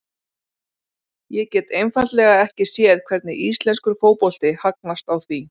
Ég get einfaldlega ekki séð hvernig íslenskur fótbolti hagnast á því.